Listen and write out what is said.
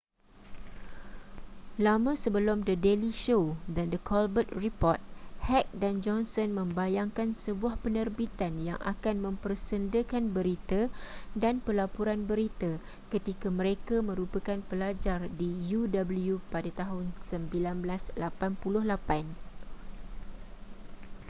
lama sebelum the daily show dan the colbert report heck dan johnson membayangkan sebuah penerbitan yang akan mempersendakan berita-dan pelaporan berita-ketika mereka merupakan pelajar di uw pada tahun 1988